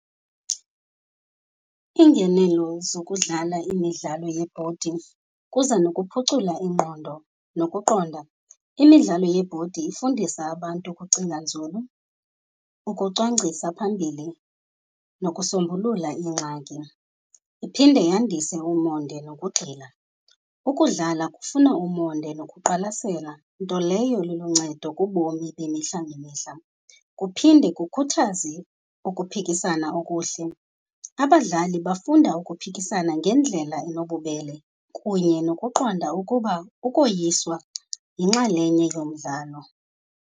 Iingenelo zokudlala imidlalo yebhodi kuza nokuphucula ingqondo nokuqonda. Imidlalo yeebhodi ifundisa abantu ukucinga nzulu, ukucwangcisa phambili, nokusombulula iingxaki, iphinde yandise umonde nokugxila. Ukudlala kufuna umonde nokuqwalasela, nto leyo iluncedo kubomi bemihla ngemihla. Kuphinde kukhuthaze ukuphikisana okuhle, abadlali bafunda ukuphikisana ngendlela enobubele kunye nokuqonda ukuba ukoyiswa yinxalenye yomdlalo.